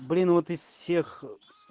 блин вот из всех